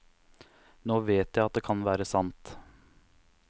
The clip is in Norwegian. Nå vet jeg at det kan være sant.